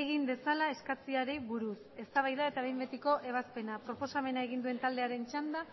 egin dezala eskatzeari buruz eztabaida eta behin betiko ebazpena proposamen egin duen taldearen txanda